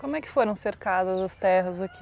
Como é que foram cercadas as terras aqui?